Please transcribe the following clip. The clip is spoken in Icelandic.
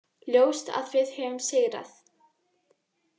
Ljóst að við höfum sigrað